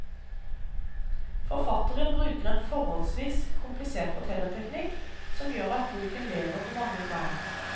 Forfatteren bruker en forholdsvis komplisert fortellerteknikk, som gjør at boken lever på mange plan.